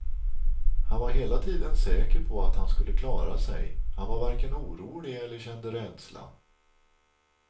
Han var hela tiden säker på att han skulle klara sig, han var varken orolig eller kände rädsla.